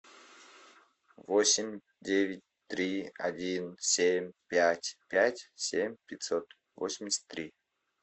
восемь девять три один семь пять пять семь пятьсот восемьдесят три